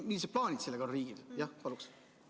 Millised plaanid riigil sellega on?